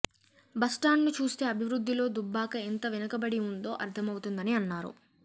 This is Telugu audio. బస్టాండ్ను చూస్తే అభివృద్ధిలో దుబ్బాక ఎంత వెనుకబడి ఉందో అర్థమవుతుందని అన్నారు